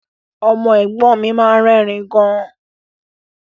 Ọmọ ẹ̀gbọ́n mi máa ń rẹ́rìn-ín gan